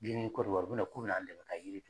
Den nu kɔrɔba u be na k'u be n'an dɛmɛ ka yiri